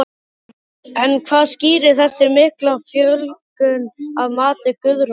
En hvað skýrir þessa miklu fjölgun að mati Guðrúnar?